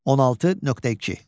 16.2.